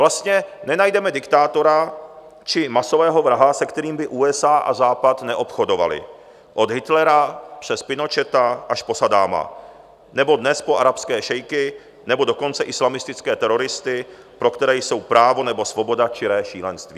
Vlastně nenajdeme diktátora či masového vraha, se kterým by USA a Západ neobchodovaly, od Hitlera přes Pinocheta až po Saddáma nebo dnes po arabské šejky, nebo dokonce islamistické teroristy, pro které jsou právo nebo svoboda čiré šílenství.